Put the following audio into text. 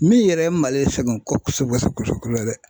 Min yɛrɛ ye Mali sɛgɛn ko kɔsɛbɛ kɔsɛbɛ kosɛbɛ dɛ.